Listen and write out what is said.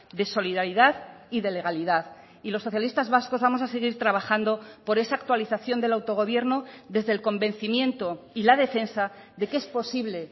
de solidaridad y de legalidad y los socialistas vascos vamos a seguir trabajando por esa actualización del autogobierno desde el convencimiento y la defensa de que es posible